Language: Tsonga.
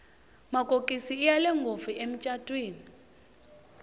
makokisi iya le ngopfu emicatwini